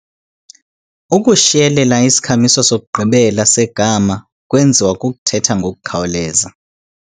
Ukushiyelela isikhamiso sokugqibela segama kwenziwa kukuthetha ngokukhawuleza.